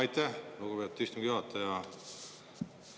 Aitäh, lugupeetud istungi juhataja!